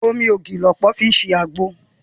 Omi ògì ni ọ̀pọ̀ ènìyàn fi ń ṣe àgbo